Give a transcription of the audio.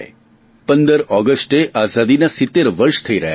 15 ઓગસ્ટે આઞાદીના 70 વર્ષ થઇ રહ્યા છે